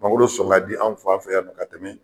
Mangoro sɔn ka di an fan fɛ yan nɔ ka tɛmɛ